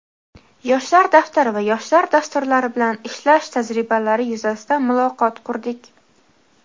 "Yoshlar daftari" va "Yoshlar dastur"lari bilan ishlash tajribalari yuzasidan muloqot qurdik.